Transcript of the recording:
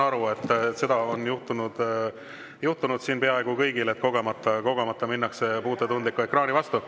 Seda on juhtunud siin peaaegu kõigil, et kogemata minnakse puutetundliku ekraani vastu.